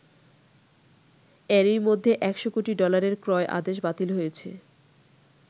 এরই মধ্যে একশো কোটি ডলারের ক্রয় আদেশ বাতিল হয়েছে।